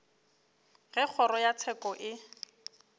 ge kgoro ya tsheko e